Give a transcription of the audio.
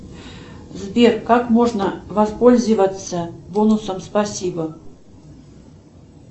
сбер как можно воспользоваться бонусом спасибо